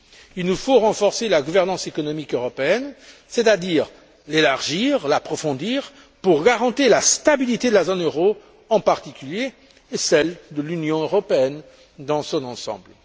Il nous faut renforcer la gouvernance économique européenne, c'est à dire l'élargir et l'approfondir pour garantir la stabilité de la zone euro en particulier et celle de l'Union européenne dans son ensemble.